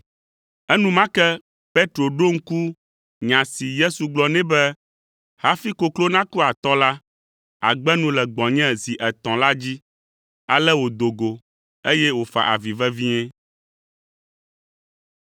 Enumake Petro ɖo ŋku nya si Yesu gblɔ nɛ be, “Hafi koklo naku atɔ la, àgbe nu le gbɔnye zi etɔ̃” la dzi. Ale wòdo go, eye wòfa avi vevie.